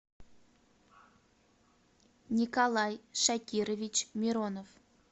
николай шакирович миронов